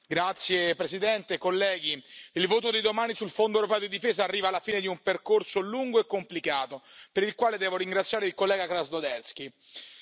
Signora Presidente, onorevoli colleghi, il voto di domani sul Fondo europeo per la difesa arriva alla fine di un percorso lungo e complicato, per il quale devo ringraziare il collega Krasnodębski.